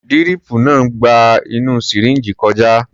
Díríìpù náà ń gba inú sìríǹjì kọjá.